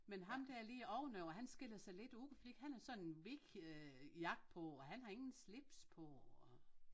Men ham dér lige ovenover han skiller sig lidt ud fordi han har sådan en hvid øh jakke på og han har ingen slips så og